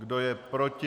Kdo je proti?